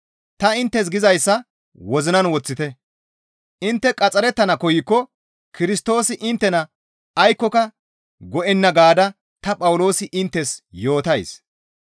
Ta inttes gizayssa wozinan woththite; intte qaxxarettana koykko Kirstoosi inttena aykkoka go7enna gaada ta Phawuloosi inttes yootays.